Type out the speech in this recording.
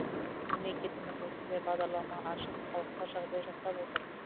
мемлекетіміз осындай бағдарлама ашып халыққа жағдай жасап отыр